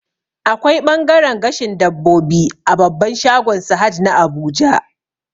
Akwai ɓangaren gashin dabbobi a babban shagon Sahad na Abuja